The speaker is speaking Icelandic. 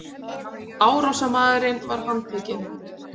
Árásarmaðurinn var handtekinn